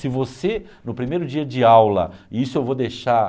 Se você, no primeiro dia de aula, e isso eu vou deixar...